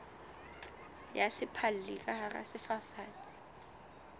ya sephalli ka hara sefafatsi